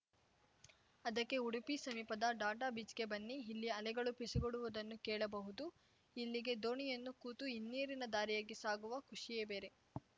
ಅದಕ್ಕೆ ಉಡುಪಿ ಸಮೀಪದ ಡಾಟಾಬೀಚ್‌ಗೆ ಬನ್ನಿ ಇಲ್ಲಿ ಅಲೆಗಳು ಪಿಸುಗುಡುವುದನ್ನೂ ಕೇಳಬಹುದು ಇಲ್ಲಿಗೆ ದೋಣಿಯನ್ನು ಕೂತು ಹಿನ್ನೀರಿನ ದಾರಿಯಾಗಿ ಸಾಗುವ ಖುಷಿಯೇ ಬೇರೆ